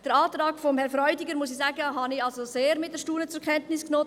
Der Antrag von Herrn Freudiger habe ich mit grossem Erstaunen zur Kenntnis genommen.